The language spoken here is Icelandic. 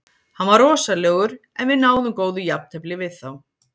Hann var rosalegur en við náðum góðu jafntefli við þá.